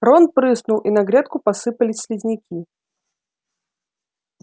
рон прыснул и на грядку посыпались слизняки